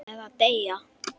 Eða deyja.